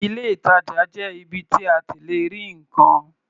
Ilé-ìtajà jẹ́ ibi tí a ti lè ra nǹkan.